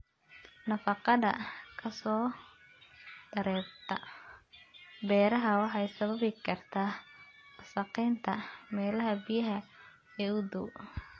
Nafaqada ka soo dareerta beeraha waxay sababi kartaa wasakhaynta meelaha biyaha ee u dhow.